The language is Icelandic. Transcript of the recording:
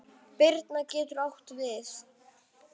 Birna getur átt við